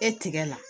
E tigɛ la